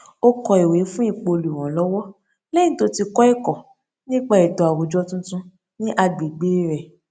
ó kọ ìwé fún ipò olùrànlọwọ lẹyìn tó ti kọ ẹkọ nípa ètò àwùjọ tuntun ní agbègbè rẹ